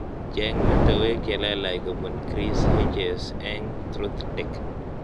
Cheng metewek chelalach kobun Chris Hedges eng truthdig